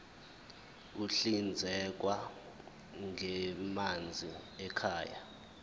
ahlinzekwa ngamanzi ekhaya